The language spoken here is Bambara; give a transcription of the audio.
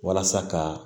Walasa ka